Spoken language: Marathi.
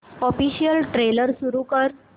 ऑफिशियल ट्रेलर सुरू कर